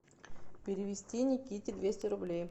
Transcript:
перевести никите двести рублей